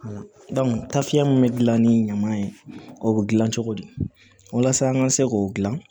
ta fiɲɛ min bɛ gilan ni ɲama ye o bɛ dilan cogo di walasa an ka se k'o dilan